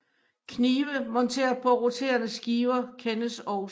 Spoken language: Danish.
Knive monteret på roterende skiver kendes også